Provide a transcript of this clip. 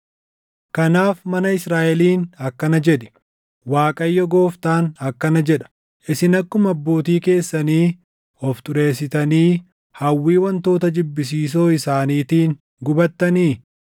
“Kanaaf mana Israaʼeliin akkana jedhi: ‘ Waaqayyo Gooftaan akkana jedha: Isin akkuma abbootii keessanii of xureessitanii hawwii wantoota jibbisiisoo isaaniitiin gubattanii?